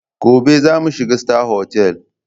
Gobe za mu shiga Star Hotel.